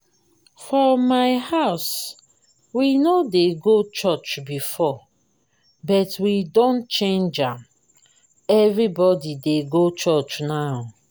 for my house we no dey go church before but we don change am. everybody dey go church now